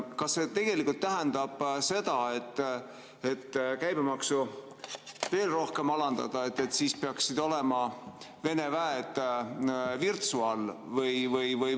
Kas see tegelikult tähendab seda, et selleks, et käibemaksu veel rohkem alandada, peaksid Vene väed olema Virtsu all?